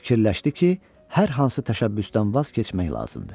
Fikirləşdi ki, hər hansı təşəbbüsdən vaz keçmək lazımdır.